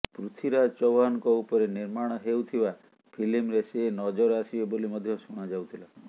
ପୃଥ୍ୱୀରାଜ ଚୌହାନଙ୍କ ଉପରେ ନିର୍ମାଣ ହେଉଥିବା ଫିଲ୍ମରେ ସେ ନଜର ଆସିବେ ବୋଲି ମଧ୍ୟ ଶୁଣା ଯାଉଥିଲା